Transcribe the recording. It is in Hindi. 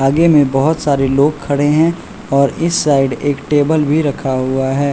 आगे में बहोत सारे लोग खड़े हैं और इस साइड एक टेबल भी रखा हुआ है।